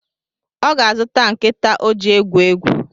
Ọ ga-zụta nkịta ọ ji egwu egwu